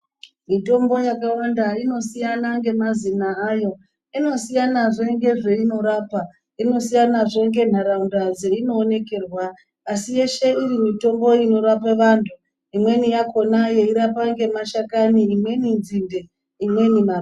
Mitombo yakawanda inosiyana ngemazina ayo, inosiyanazve ngezveinorapa, inosiyanazve ngenharaunda dzeinoonekerwa, asi yeshe iri mitombo inorape vantu. Imweni yakhona yeirapa ngemashakani imweni nzinde ,imweni ma....